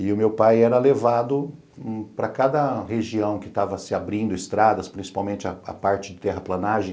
E o meu pai era levado para cada região que estava se abrindo estradas, principalmente a parte de terraplanagem,